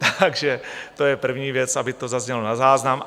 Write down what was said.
Takže to je první věc, aby to zaznělo na záznam.